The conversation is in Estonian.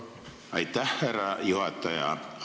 Aitäh, härra juhataja!